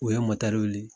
U ye wuli